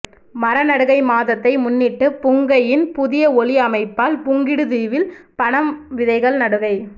மரநடுகை மாதத்தை முன்னிட்டு புங்கையின் புதிய ஒளி அமைப்பால் புங்குடுதீவில் பனம் விதைகள் நடுகை